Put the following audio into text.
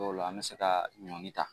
Dɔw la an bɛ se ka ɲɔni ta